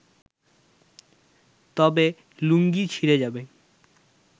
তবে লুঙ্গি ছিঁড়ে যাবে